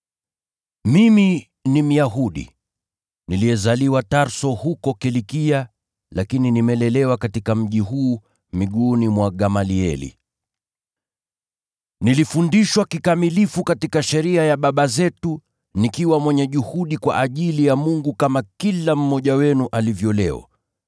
“Mimi ni Myahudi, niliyezaliwa Tarso huko Kilikia, lakini nimelelewa katika mji huu. Miguuni mwa Gamalieli, nilifundishwa kikamilifu katika sheria ya baba zetu, na nikawa mwenye juhudi kwa ajili ya Mungu kama kila mmoja wenu alivyo leo.